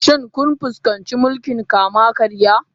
Shin kun fuskanci mulkin kama karya?